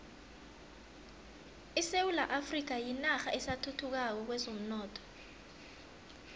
isewula afrika yinarha esathuthukako kwezomnotho